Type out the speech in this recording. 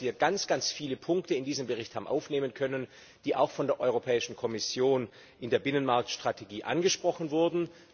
Ich glaube, dass wir ganz viele Punkte in diesen Bericht haben aufnehmen können, die auch von der Europäischen Kommission in der Binnenmarktstrategie angesprochen wurden.